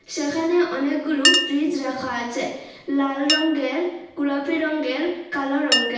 সেখানে অনেকগুলু ফ্রিজ রাখা আচে লাল রঙ্গের গুলাপি রঙ্গের কালো রঙ্গের।